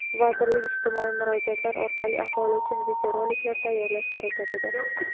vazirlik ijtimoiy murojaatlar orqali aholi uchun videoroliklar tayyorlash harakatida.